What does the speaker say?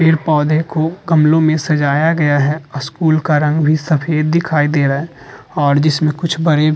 पेड़-पौधों को गमलो में सजाया गया है और स्कूल का रंग भी सफ़ेद दिखाई दे रहा है और जिसमे कुछ बड़े भी --